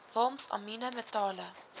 walms amiene metale